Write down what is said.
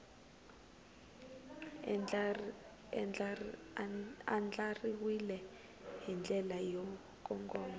andlariwile hi ndlela yo kongoma